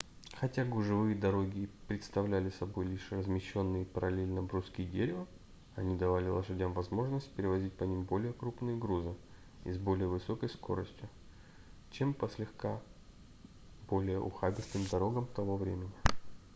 хотя гужевые дороги представляли собой лишь размещенные параллельно бруски дерева они давали лошадям возможность перевозить по ним более крупные грузы и с более высокой скоростью чем по слегка более ухабистым дорогам того времени